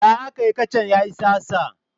Ya akayi kacan ya yi tsatsa?